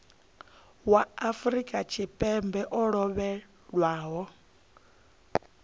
wa afrika tshipembe o lovhelaho